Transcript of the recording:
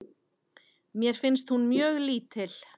Mér finnst hún mjög lítil.